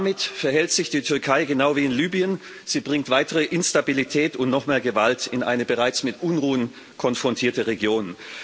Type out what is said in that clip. Damit verhält sich die Türkei genau wie in Libyen Sie bringt weitere Instabilität und noch mehr Gewalt in eine bereits mit Unruhen konfrontierte Region.